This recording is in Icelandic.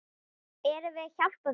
Erum við að hjálpa þeim?